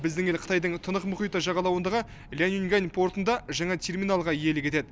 біздің ел қытайдың тынық мұхиты жағалауындағы лянюньгань портында жаңа терминалға иелік етеді